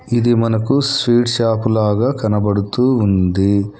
ఇది మనకు sweet shop లాగా కనబడుతూ ఉంది.